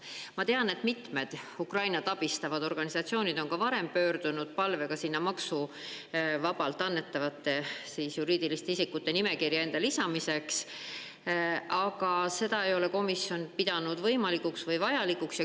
Ma tean, et mitmed Ukrainat abistavad organisatsioonid on ka varem pöördunud palvega, et neid lisataks juriidiliste isikute nimekirja, kellele saab annetada maksuvabalt, aga seda ei ole komisjon pidanud võimalikuks või vajalikuks.